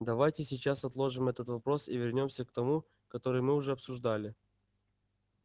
давайте сейчас отложим этот вопрос и вернёмся к тому который мы уже обсуждали